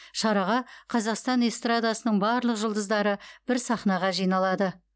шараға қазақстан эстрадасының барлық жұлдыздары бір сахнаға жиналады